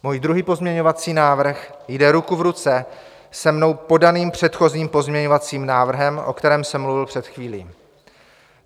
Můj druhý pozměňovací návrh jde ruku v ruce se mnou podaným předchozím pozměňovacím návrhem, o kterém jsem mluvil před chvílí.